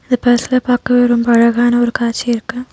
இந்த பிளேஸ்ல பாக்கவே ரொம்ப அழகான ஒரு காட்சியிருக்கு.